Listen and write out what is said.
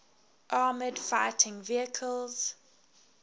armored fighting vehicles